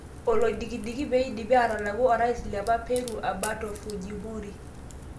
Olodikidiki pedipi atalaku orais liapa Peru Aberto Fujimori.